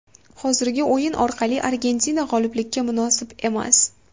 Hozirgi o‘yin orqali Argentina g‘oliblikka munosib emas.